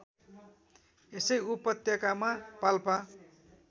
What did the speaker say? यसै उपत्यकामा पाल्पा